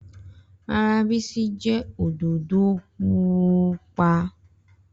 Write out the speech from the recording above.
Rara, Bisi jẹ ododo pupọ.